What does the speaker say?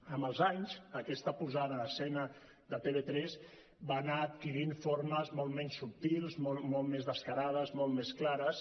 amb els anys aquesta posada en escena de tv3 va anar adquirint formes molt menys subtils molt més descarades molt més clares